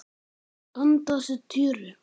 Anda að sér tjöru.